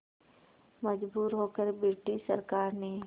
मजबूर होकर ब्रिटिश सरकार ने